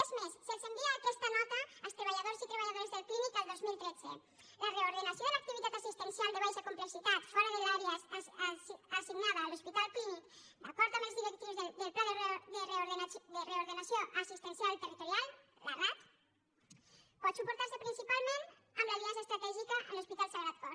és més se’ls envia aquesta nota als treballadors i treballadores del clínic el dos mil tretze la reordenació de l’activitat assistencial de baixa complexitat fora de l’àrea assignada a l’hospital clínic d’acord amb les directrius del pla de reordenació assistencial territorial la rat pot suportar se principalment amb l’aliança estratègica amb l’hospital sagrat cor